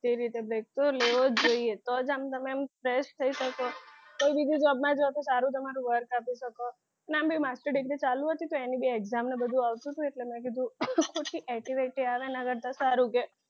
જે રીતે થોડો level જોઈએ તો જ આમ તમે આમ fresh થઇ શકો ને કોઈ બીજું job માં નતુ સારું તમારું work આપી શકો ને ને આમ બી master degree ચાલુ ને તો અની બી exam ને બધું આવતું અટેલે મેં કીધું AT બેટિ આવે ના તળે સારું કે